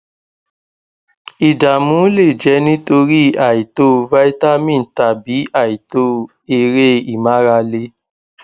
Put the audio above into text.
ìdààmú lè jẹ nítorí àìtó vitamin tàbí àìtó eré ìmárale